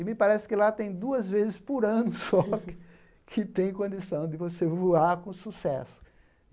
E me parece que lá tem duas vezes por ano só que tem condição de você voar com sucesso.